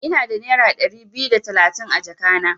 Ina da nera Dari biyu da talatin a jaka na.